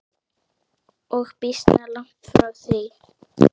Og býsna langt frá því.